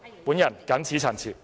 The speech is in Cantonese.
我謹此陳辭。